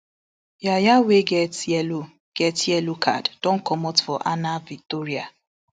yaya wey get yellow get yellow card don comot for ana vitoria